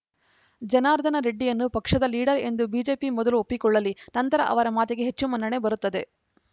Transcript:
ಜನಾರ್ದನ ರೆಡ್ಡಿಯನ್ನು ಪಕ್ಷದ ಲೀಡರ್‌ ಎಂದು ಬಿಜೆಪಿ ಮೊದಲು ಒಪ್ಪಿಕೊಳ್ಳಲಿ ನಂತರ ಅವರ ಮಾತಿಗೆ ಹೆಚ್ಚು ಮನ್ನಣೆ ಬರುತ್ತದೆ